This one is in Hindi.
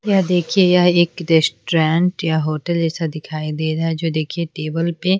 यह देखिए यह एक रेस्टोरेंट या होटल जैसा दिखाई दे रहा है जो देखिए टेबल पे--